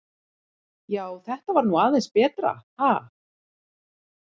Já, þetta var nú aðeins betra, ha!